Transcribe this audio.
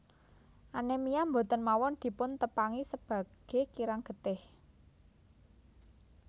Anemia boten mawon dipun tepangi sebage kirang getih